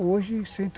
Hoje,